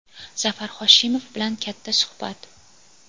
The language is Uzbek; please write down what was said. Zafar Hoshimov bilan katta suhbat.